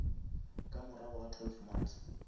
ka morago ga twelve months